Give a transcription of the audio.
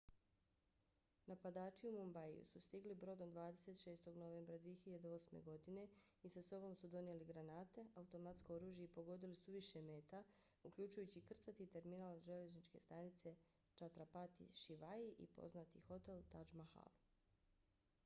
napadači u mumbaiju su stigli brodom 26. novembra 2008. godine i sa sobom su donijeli granate automatsko oružje i pogodili su više meta uključujući krcati terminal željezničke stanice chhatrapati shivaji i poznati hotel taj mahal